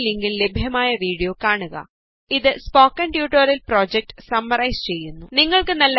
താഴെയുള്ള ലിങ്കില് ലഭ്യമായ വീഡിയോ കാണുക ഇത് സ്പോക്കണ് ട്യൂട്ടോറിയല് പ്രോജക്ട് സമ്മറൈസ് ചെയ്യുന്നു